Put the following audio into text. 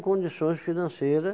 condições financeira